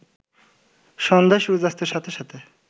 সন্ধ্যায় সূর্যাস্তের সাথে সাথে